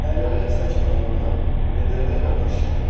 Fəhlələr çay kənarından vedrələrlə daş gətirdilər.